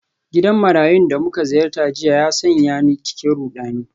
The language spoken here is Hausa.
Gidan marayun da muka ziyarta jiya ya sanya ni cikin rudani.